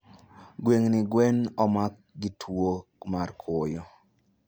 gwengni gwen omak gitwo mar koyo